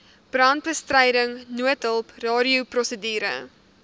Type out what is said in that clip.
brandbestryding noodhulp radioprosedure